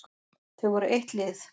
Þau voru eitt lið.